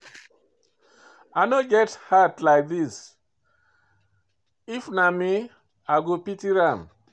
I no get heart reach like this, If na me, i for pity am.